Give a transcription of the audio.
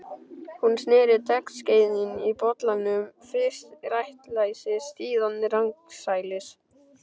Hún sneri teskeiðinni í bollanum, fyrst réttsælis, síðan rangsælis.